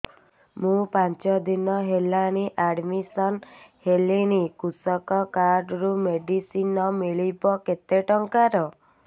ମୁ ପାଞ୍ଚ ଦିନ ହେଲାଣି ଆଡ୍ମିଶନ ହେଲିଣି କୃଷକ କାର୍ଡ ରୁ ମେଡିସିନ ମିଳିବ କେତେ ଟଙ୍କାର